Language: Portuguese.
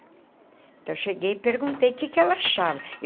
Então eu cheguei e perguntei o que que ela achava.